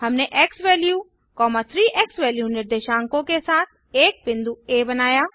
हमने x value 3 x value निर्देशांकों के साथ एक बिंदु आ बनाया